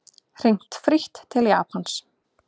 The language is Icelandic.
Hringt frítt til Japans